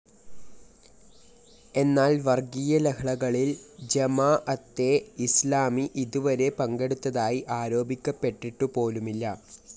എന്നാൽ വർഗീയലഹളകളിൽ ജമാഅത്തെ ഇസ്‌ലാമി ഇതുവരെ പങ്കെടുത്തതായി ആരോപിക്കപ്പെട്ടിട്ടു പോലുമില്ല.